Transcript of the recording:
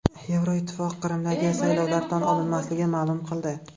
Yevroittifoq Qrimdagi saylovlar tan olinmasligini ma’lum qildi.